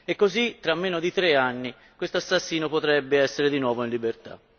E così, tra meno di tre anni, questo assassino potrebbe essere di nuovo in libertà.